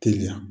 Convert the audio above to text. Teliya